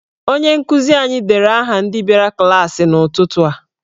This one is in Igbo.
Onye nkụzi anyị deere aha ndị bịara klaasị n'ụtụtụ a.